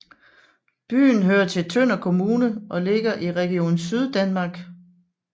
Byen hører til Tønder Kommune og ligger i Region Syddanmark